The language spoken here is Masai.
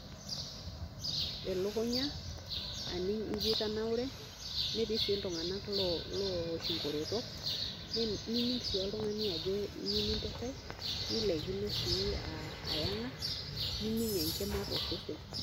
Elikunya aning ajo itabaure netii si ltunganak oowosh nkototok nining si oltungani ajo iyieu nilopisho a yanga nining enkima tosesen.